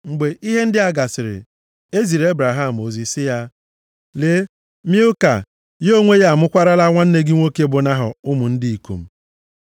Mgbe ihe ndị a gasịrị, e ziri Ebraham ozi si ya, “Lee, Milka ya onwe ya amụkwaarala nwanne gị nwoke bụ Nahọ, ụmụ ndị ikom.